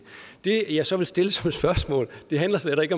det jeg så vil stille som spørgsmål handler slet ikke